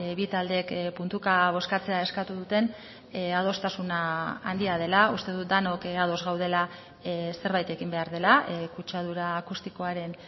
bi taldeek puntuka bozkatzea eskatu duten adostasuna handia dela uste dut denok ados gaudela zerbait egin behar dela kutsadura akustikoaren